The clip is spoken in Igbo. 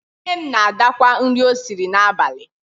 Nne m na-adakwa nri o siri n'abalị.